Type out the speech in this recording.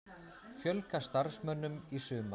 Fjölga starfsmönnum í sumar